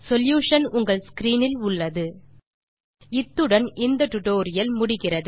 solution உங்கள் screen இல் உள்ளது இத்துடன் இந்த டுடோரியல் முடிகிறது